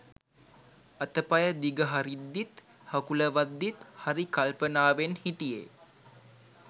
අතපය දිග හරිද්දිත් හකුලවද්දිත් හරි කල්පනාවෙන් හිටියේ